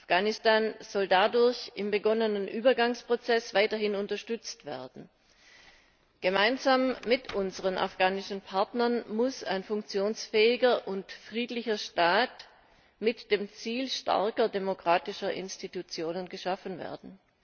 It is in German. Afghanistan soll dadurch im begonnenen Übergangsprozess weiterhin unterstützt werden. Gemeinsam mit unseren afghanischen Partnern muss ein funktionsfähiger und friedlicher Staat mit dem Ziel starker demokratischer Institutionen geschaffen werden.